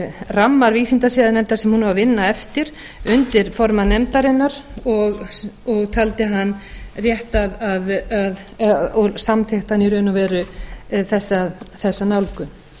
ramma vísindasiðanefndar sem hún á að vinna eftir undir formann nefndarinnar og taldi hann rétt að og samþykkti hann í raun og veru þessa nálgun